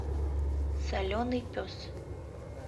соленый пес